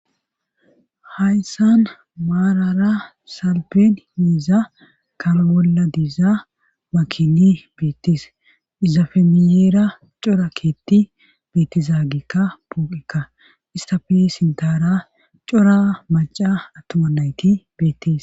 hayssan maarara salpen heeza kalbolla diizaa makini beettis izafemiyeera cora keetti beettizaagikka pooqekka istafe sintara cora maca attuma nayti beettis